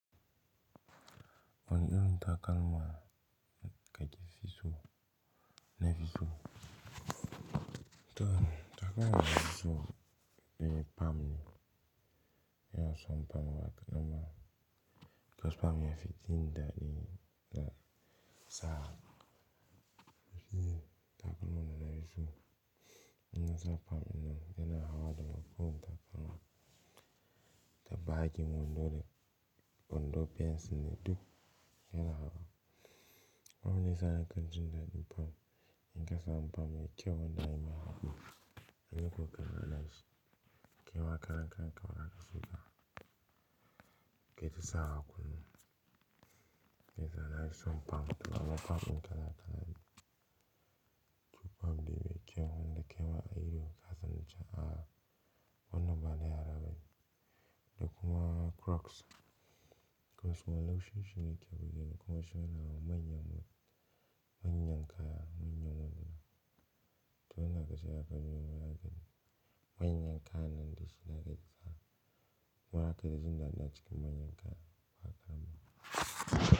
Wane irin takalma ka ke fi so na fi so. To takalma na fi so ne pam ne. Yana son pam wa ka noma. Kos pam ya fi dindi da sa'a. Fini takalma na na fi so. Ina sa pam ɗin yana hawa domin ko takalma ta baki wando da wando fensu ne duk yana hawa. Abun da yasa ne kanji dindi pam in ka sami pam me kyau wanda ya yi hagu. Amina ko kana na ke wa karan kanka baza ka so ba kayi ta sawa kullum. Ni kam na fi son pam to amma pam kala kala ne. To pam dai mekyau wanda kaima a ido kasan cewa wannan bana yara bane. Da kuma crocs. Crocs kuma laushin shi ne yake rude ni kuma shi yana wa manyan, manyan kaya manyan wando. To wada ka sa ya kawo manyan kaya nan da shi na kai sa. Kuma za kaji dindi a ciki manyan kaya ba kadan ba.